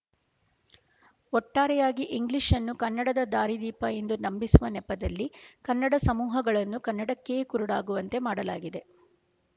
ಒಟ್ಟಾರೆಯಾಗಿ ಇಂಗ್ಲೀಷನ್ನು ಕನ್ನಡದ ದಾರಿದೀಪ ಎಂದು ನಂಬಿಸುವ ನೆಪದಲ್ಲಿ ಕನ್ನಡ ಸಮೂಹಗಳನ್ನು ಕನ್ನಡಕ್ಕೆಯೇ ಕುರುಡಾಗುವಂತೆ ಮಾಡಲಾಗಿದೆ